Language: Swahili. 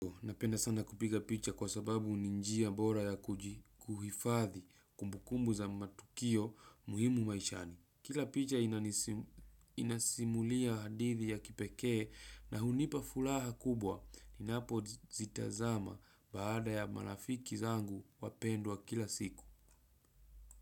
Napenda sana kupiga picha kwa sababu ni njia bora ya kuhifadhi kumbukumbu za matukio muhimu maishani. Kila picha inasimulia hadithi ya kipekee na hunipa furaha kubwa. Ninapo zitazama baada ya marafiki zangu wapendwa kila siku.